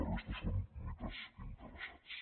la resta són mites interessats